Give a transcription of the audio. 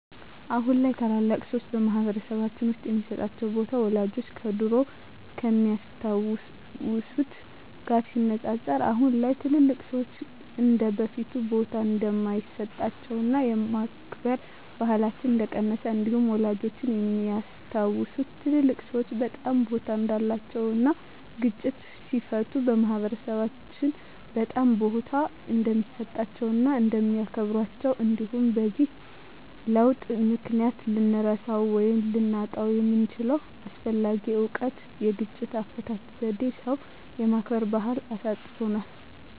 አሁን ላይ ታላላቅ ሰዎች በማህበረሰልባችን ውስጥ የሚሰጣቸው ቦታ ወላጆቻችን ከድሮው ከሚያስታውት ጋር ሲነፃፀር አሁን ላይ ትልልቅ ሰዎች እንደበፊቱ ቦታ እንደማይሰጣቸውና የማክበር ባህላችን እንደቀነሰ እንዲሁም ወላጆቻችን የሚያስታውሱት ትልልቅ ሰዎች በጣም ቦታ እንዳላቸው እና ግጭትን ሲፈቱ ማህበረሰብ በጣም ቦታ እንደሚሰጣቸው እና እንደሚያከብራቸው እንዲሁም በዚህ ለውጥ ምክንያት ልንረሳው ወይም ልናጣው የምንችለው አስፈላጊ እውቀት የግጭት አፈታት ዜዴን ሰው የማክበር ባህልን አሳጥቶናል።